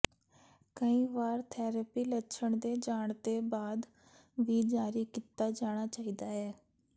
ਕਈ ਵਾਰ ਥੈਰੇਪੀ ਲੱਛਣ ਦੇ ਜਾਣ ਦੇ ਬਾਅਦ ਵੀ ਜਾਰੀ ਕੀਤਾ ਜਾਣਾ ਚਾਹੀਦਾ ਹੈ